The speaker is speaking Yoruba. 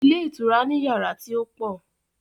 Ilé ìtura ni yàrá tí ó pọ̀.